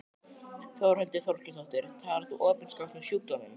Þórhildur Þorkelsdóttir: Talar þú opinskátt um sjúkdóminn?